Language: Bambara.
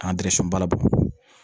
An balabu